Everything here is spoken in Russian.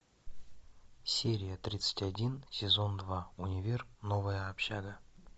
серия тридцать один сезон два универ новая общага